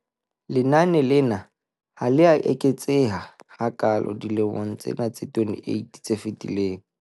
Lenane lena ha le a eketseha hakaalo dilemong tsena tse 28 tse fetileng.